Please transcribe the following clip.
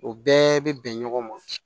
U bɛɛ bɛ bɛn ɲɔgɔn ma